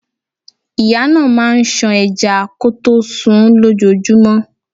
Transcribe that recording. Ìyá náà máà ń ṣan ẹja kọtó sunún lójojúmọ́.